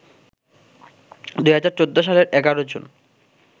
২০০৪ সালের ১১ জুন